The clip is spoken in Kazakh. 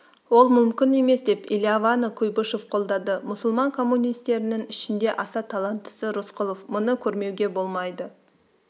ол мүмкін емес деп элиаваны куйбышев қолдады мұсылман коммунистерінің ішінде аса таланттысы рысқұлов мұны көрмеуге болмайды